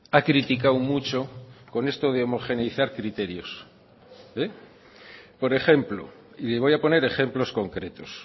ha criticado mucho con esto de homogeneizar criterios por ejemplo y le voy a poner ejemplos concretos